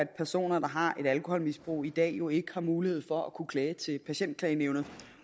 personer der har et alkoholmisbrug i dag jo ikke har mulighed for at kunne klage til patientklagenævnet